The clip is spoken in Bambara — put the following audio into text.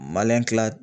kila